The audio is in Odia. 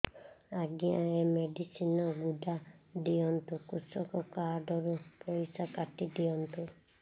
ଆଜ୍ଞା ଏ ମେଡିସିନ ଗୁଡା ଦିଅନ୍ତୁ କୃଷକ କାର୍ଡ ରୁ ପଇସା କାଟିଦିଅନ୍ତୁ